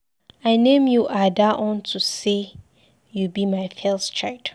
I name you Ada unto say you be my first child.